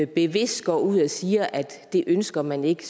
bevidst går ud og siger at det ønsker man ikke